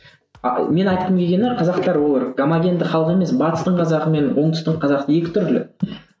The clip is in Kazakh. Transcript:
ал менің айтқым келгені қазақтар олар гомогендік халық емес батыстың қазағы мен оңтүстің қазағы екі түрлі